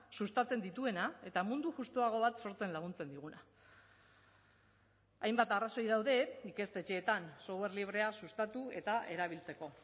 sustatzen dituena eta mundu justuago bat sortzen laguntzen diguna hainbat arrazoi daude ikastetxeetan software librea sustatu eta erabiltzeko